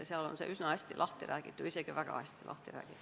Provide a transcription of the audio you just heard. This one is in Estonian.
Seal on see üsna hästi lahti räägitud, isegi väga hästi lahti räägitud.